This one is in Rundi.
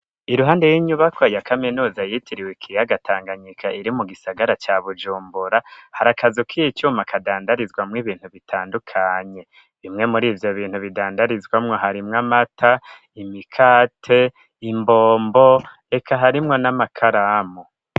Iruhande y'inyubako ya kaminuza yitiriwe ikiyaga tanganyika iri mu gisagara ca bujumbura, hari akazu kicuma kadandarizwamwo bintu bitandukanye bimwe muri ivyo bintu bidandarizwamo harimwo: amata ,imikate, imbombo ,reka harimwo n'amakaramu.